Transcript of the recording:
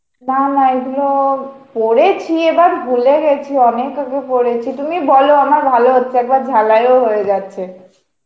না না এগুলো পড়েছি এবার ভুলে গেছি অনেক আগে পড়েছি, তুমি বল আমার ভালো হচ্ছে, একবার ঝালাই ও হয়ে যাচ্ছে.